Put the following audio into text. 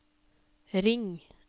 ring